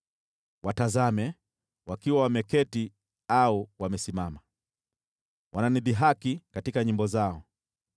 Watazame! Wakiwa wameketi au wamesimama, wananidhihaki katika nyimbo zao.